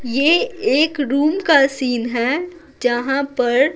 यह एक रूम का सीन है जहाँ पर--